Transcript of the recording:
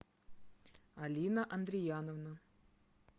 алина андрияновна